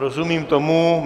Rozumím tomu.